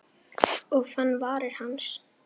Og fann varir hans.